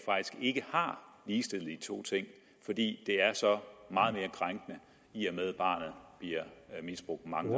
har ligestillet de to ting fordi det er så meget mere krænkende i og med at barnet bliver misbrugt mange